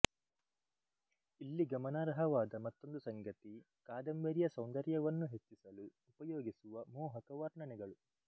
ಇಲ್ಲಿ ಗಮನಾರ್ಹವಾದ ಮತ್ತೊಂದು ಸಂಗತಿ ಕಾದಂಬರಿಯ ಸೌಂದರ್ಯವನ್ನು ಹೆಚ್ಚಿಸಲು ಉಪಯೋಗಿಸಿರುವ ಮೋಹಕ ವರ್ಣನೆಗಳು